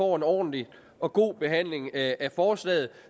ordentlig og god behandling af forslaget